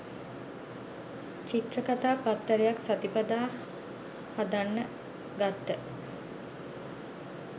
චිත්‍රකතා පත්තරයක් සතිපතා හදන්න ගත්ත.